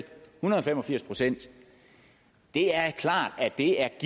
hundrede og fem og firs procent det er klart at det er